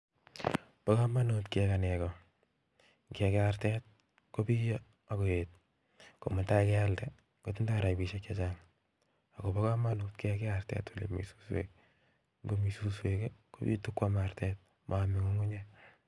Bo komonut kerat nego, ngekei artet, kobiyo ak koet komutai ialde kotindo rabisiek chechang'. Kobonut kekei artet en ilemi suswek ngobit suswek ii kobitu kuam artet moome ng'ung'unyek.